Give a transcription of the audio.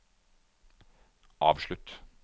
avslutt